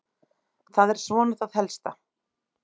Það er svona það helsta.